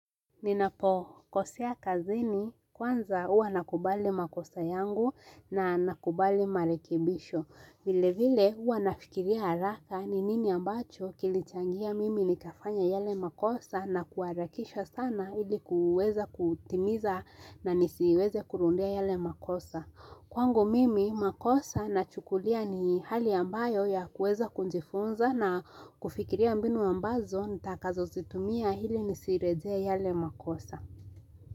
Ninapo, kosea kazini, kwanza huwa nakubali makosa yangu na nakubali marekibisho. Vile vile, huwa nafikiria haraka ni nini ambacho kilichangia mimi nikafanya yale makosa na kuharakisha sana ilikuweza kutimiza na nisiweze kurudia yale makosa. Kwangu mimi makosa nachukulia ni hali ambayo ya kuweza kujifunza na kufikiria mbinu ambazo nitakazo zitumia ili nisirejee yale makosa.